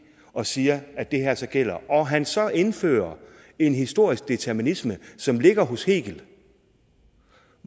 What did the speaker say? og siger at det her så gælder og at han så indfører en historisk determinisme som ligger hos hegel